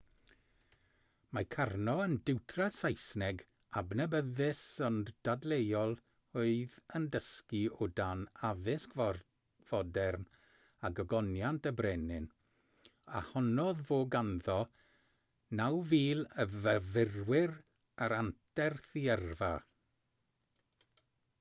mae karno yn diwtor saesneg adnabyddus ond dadleuol oedd yn dysgu o dan addysg fodern a gogoniant y brenin a honnodd fod ganddo 9,000 o fyfyrwyr ar anterth ei yrfa